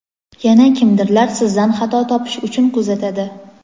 yana kimdirlar sizdan xato topish uchun kuzatadi.